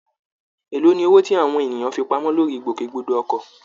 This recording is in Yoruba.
Èló ni owó tí àwọn ènìyàn fi pamọ́ lórí ìgbòkègbodò ọkọ̀?